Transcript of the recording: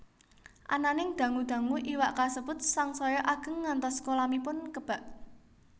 Ananing dangu dangu iwak kasebut sangsaya ageng ngantos kolamipun kebak